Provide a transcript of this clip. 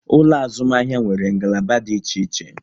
Ụlọ azụmahịa nwere ngalaba dị iche iche